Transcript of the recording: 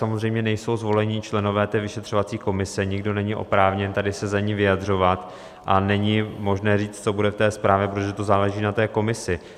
Samozřejmě nejsou zvoleni členové té vyšetřovací komise, nikdo není oprávněn tady se za ni vyjadřovat a není možné říct, co bude v té zprávě, protože to záleží na té komisi.